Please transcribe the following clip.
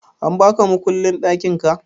An baka mukullin ɗakinka?